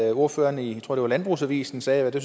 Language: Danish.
at ordføreren i jeg tror det var landbrugsavisen sagde at det